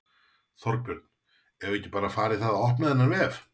Þorbjörn: Eigum við ekki bara að fara í það að opna þennan vef?